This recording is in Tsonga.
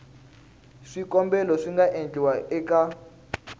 swikombelo swi nga endliwa eka